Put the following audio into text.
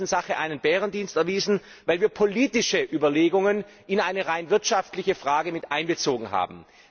Wir haben der ganzen Sache einen Bärendienst erwiesen, weil wir politische Überlegungen in eine rein wirtschaftliche Frage miteinbezogen haben.